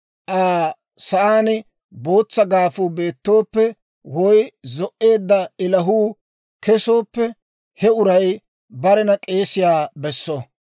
Aa sa'aan bootsa gaafuu beetooppe woy zo"eedda ilahuu kesooppe, he uray barena k'eesiyaa besso.